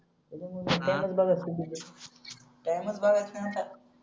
टाईमच बघायचा नाय आता